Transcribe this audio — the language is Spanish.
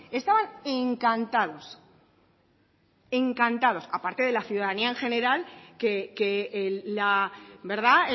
estaban encantados encantados a parte de la ciudadanía en general que la verdad